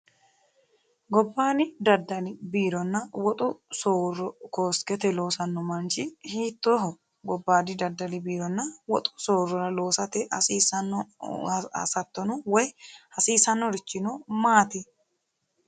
gobbayiidi daddali biironna woxu soorro koskete loosanno manchi hiittooho gobbayiidi daddali biironna woxu soorrora loosate hasiissanno hasattono woyi hasiisannorichi maati?